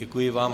Děkuji vám.